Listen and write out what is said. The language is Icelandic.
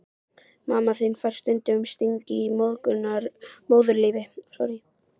Mamma þín fær stundum stingi í móðurlífið.